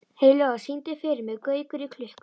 Heiðlóa, syngdu fyrir mig „Gaukur í klukku“.